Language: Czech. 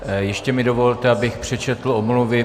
Ještě mi dovolte, abych přečetl omluvy.